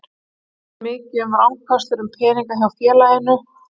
Það er svo mikið um rangfærslur um peninga hjá félaginu.